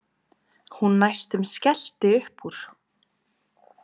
Hún næstum skellti upp úr.